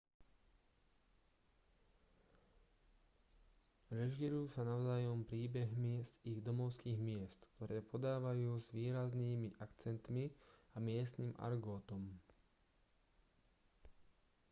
režírujú sa navzájom príbehmi z ich domovských miest ktoré podávajú s výraznými akcentmi a miestnym argotom